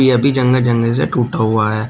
यह भी जंगह जंगह से टूटा हुआ है।